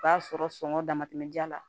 O b'a sɔrɔ sɔngɔ dama tɛmɛ ji la